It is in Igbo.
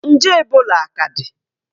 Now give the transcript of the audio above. Nje Ebola aka dị?